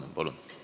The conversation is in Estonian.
Palun!